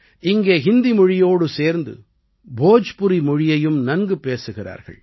இங்கே ஹிந்தி மொழியோடு சேர்ந்து போஜ்புரி மொழியையும் நன்கு பேசுகிறார்கள்